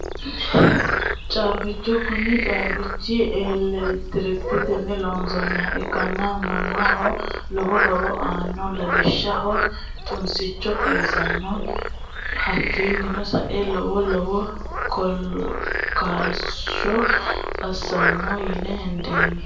Caabicho kuni caabichi elektriketenni loosanoha ikkana manaho lowo horo aanao lawishshaho tunsicho xawisanno hakiino sae lowo lowo kaaloshe asano yine hendani.